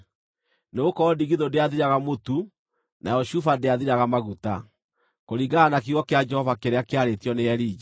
Nĩgũkorwo ndigithũ ndĩathiraga mũtu nayo cuba ndĩathiraga maguta, kũringana na kiugo kĩa Jehova kĩrĩa kĩarĩtio nĩ Elija.